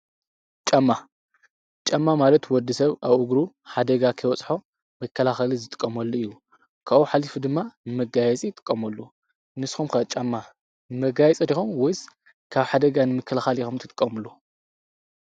ጫማ ፦ጫማ ማለት ወዲሰብ ኣብ እግሩ ሓደጋ ከይበፅሖ መከላኸሊ ዝጥቀመሉ እዩ። ካብኡ ሓሊፉ ድማ ንመጋየፂ ይጥቀምሉ ። ንስኹም ከ ጫማ ንመጋየፂ ዲኹም ወይስ ካብ ሓደጋ ንመከላኸሊ ኢኩም እትጥቀምሉ?